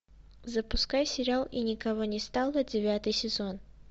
запускай сериал и никого не стало девятый сезон